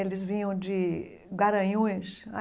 Eles vinham de Garanhuns.